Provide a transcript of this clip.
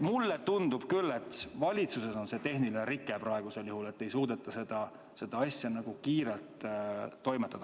Mulle tundub küll, et valitsuses on praegusel juhul tehniline rike, et ei suudeta seda asja kiirelt toimetada.